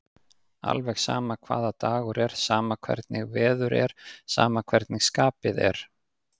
Alveg sama hvaða dagur er, sama hvernig veður er, sama hvernig skapið er.